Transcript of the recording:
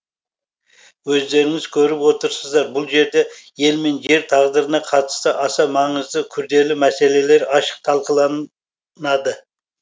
өздеріңіз көріп отырсыздар бұл жерде ел мен жер тағдырына қатысты аса маңызды күрделі мәселелер ашық талқыланады